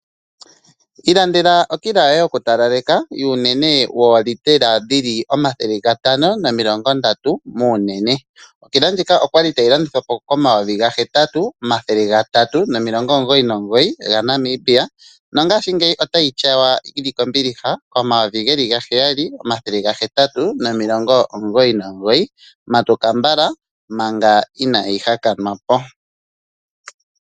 Ilandela okila yoye yokutalaleka yoolitela dhili omathele gatano nomilongo ndatu muunene . Okila ndjika okwali tayilandithwa po koN$ 8399 mongashingeyi otayi tyawa yili kombiliha koN$7899 . Matuka mbala manga inayi hakanwa po.